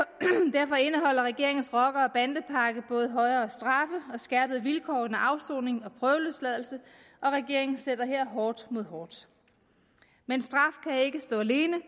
derfor indeholder regeringens rocker og bandepakke både højere straffe og skærpede vilkår under afsoning og prøveløsladelse og regeringen sætter her hårdt mod hårdt men straf kan ikke stå alene